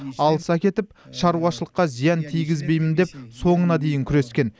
алыс әкетіп шаруашылыққа зиян тигізбеймін деп соңына дейін күрескен